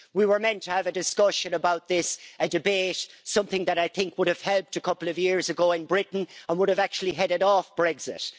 We were meant to have a discussion about this, a debate, something that I think would have helped a couple of years ago in Britain and would have actually headed off Brexit.